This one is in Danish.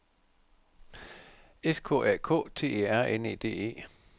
S K A K T E R N E D E